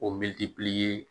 O medi